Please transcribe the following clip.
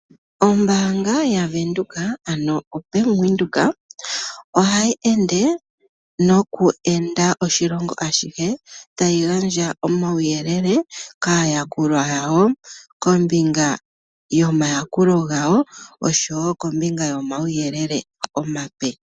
Ombaanga yaVenduka, ano oBannk Windhoek ohayi ende noku enda oshilongo ashihe tayi gandja omauyelele kaayakulwa yawo kombinga yomayakulo gawo noshowo kombinga yomauyelele omape.